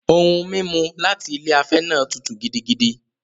Ohun-mímu láti ilé afẹ́ náà tútù gidigidi.